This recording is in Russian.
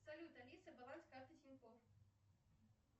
салют алиса баланс карты тинькофф